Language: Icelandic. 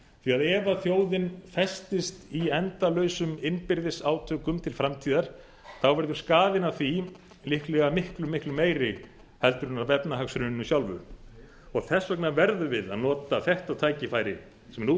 að ef þjóðin festist í endalausum innbyrðis átökum til framtíðar verður skaðinn af því líklega miklu meiri en af efnahagshruninu sjálfu þess vegna verðum við að nota þetta tækifæri sem nú